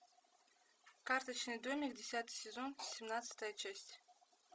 карточный домик десятый сезон семнадцатая часть